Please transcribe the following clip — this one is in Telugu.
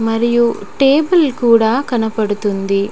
మరియు టేబుల్ కూడా కనబడుతుంది.